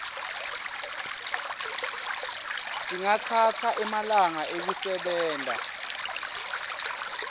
singatsatsa emalanga ekusebenta